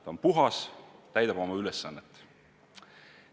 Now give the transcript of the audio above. Ta on puhas, täidab oma ülesannet.